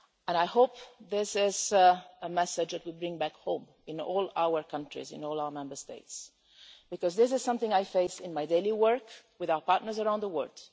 I hope this is a message that we bring back home to all our countries, to all our Member States, because this is something I face in my daily work with our partners around the world.